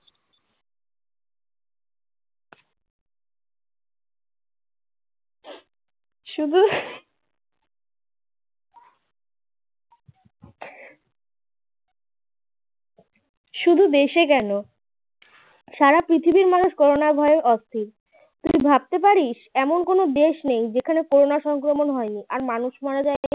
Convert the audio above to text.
শুধু দেশে কেন সারা পৃথিবীর মানুষ করোনার ভয়ে অস্থির তুই ভাবতে পারিস এমন কোনও দেশ নেই যেখানে করোনা সংক্রমণ হয়নি আর মানুষ মারা যায়নি